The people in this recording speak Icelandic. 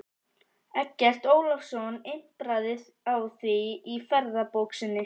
Eggert Ólafsson impraði á því í ferðabók sinni